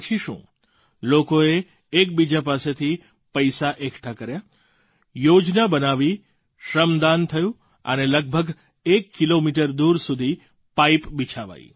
પછી શું લોકોએ એકબીજા પાસેથી પૈસા એકઠા કર્યા યોજના બનાવી શ્રમદાન થયું અને લગભગ એક કિલોમીટર દૂર સુધી પાઇપ બિછાવાઈ